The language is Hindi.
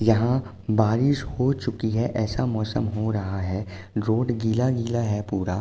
यहाँ बारिश हो चुकी है ऐसा मौसम हो रहा है। रोड गीला गीला है पूरा।